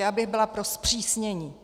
Já bych byla pro zpřísnění.